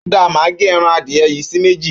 Óda máa gé ẹran adìẹ yìí sí méjì.